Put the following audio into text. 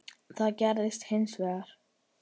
Það gerðist hins vegar.